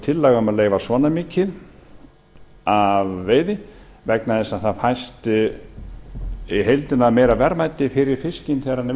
tillaga um að leyfa svona mikið af veiði vegna þess að það fæst í heildina meira verðmæti fyrir fiskinn þegar hann